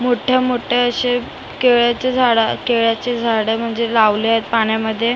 मोठे मोठे असे केळाचे झाडं केळाचे झाडं म्हणजे लावले आहेत पाण्यामध्ये आन त्या--